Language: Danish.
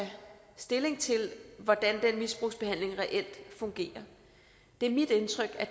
stilling til hvordan den misbrugsbehandling reelt fungerer det er mit indtryk at